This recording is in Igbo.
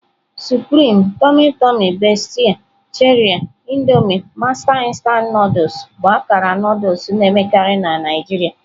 Supreme, Tummy Tumy, Bestie, Cherie, Indomie, Master instant Nụdụls bụ akara Nụdụls na-emekarị na Naijiria.